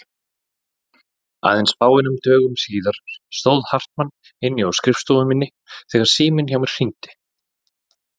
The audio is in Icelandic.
Aðeins fáeinum dögum síðar stóð Hartmann inni á skrifstofu minni þegar síminn hjá mér hringdi.